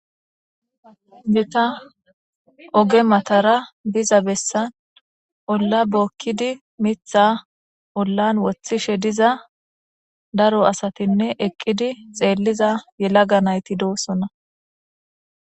Deta oge matara diza bessa olla bookkidi mitha ollan wothishe diza daro asatinne eqqidi xeelliza yelaga nayti doossona.